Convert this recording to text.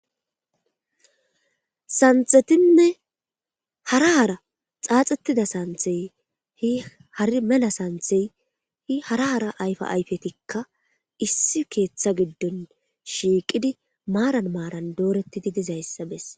Santhetinne hara hara xaaxettida santhey hi hari mela santhey hi hara hara ayfa ayfetikka issi keeththa giddon shiiqidi maaran maaran dooretti di dizayssa bes.